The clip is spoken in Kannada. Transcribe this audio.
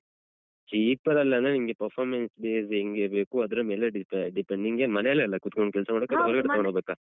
Cheaper ಅಲ್ಲಾದ್ರೆ ನಿಮ್ಗೆ performance base ಹೆಂಗೆ ಬೇಕು ಅದರ ಮೇಲೆ depend ನಿಂಗೇನ್ ಮನೆಯಲ್ಲಲ್ಲ ಕೂತ್ಕೊಂಡ್ ಕೆಲ್ಸ ಮಾಡಕ್ಕಾ ಅಥವಾ